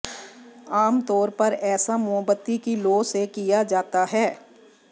आमतौर पर ऐसा मोमबत्ती की लौ से किया जाता है